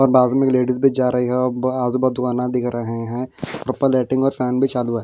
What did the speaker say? और बाजू मे एक लेडिस भी जा रही है आजू बाजू दुकाने दिख रहे है ऊपर लाइटिंग और फैन भी चालू है।